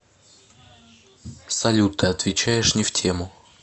салют ты отвечаешь не в тему